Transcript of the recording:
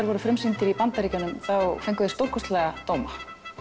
voru frumsýnd í Bandaríkjunum fenguð þið stórkostlega dóma